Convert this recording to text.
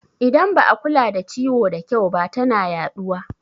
Idan ba a kula da ciwo da kyau ba tana yaɗuwa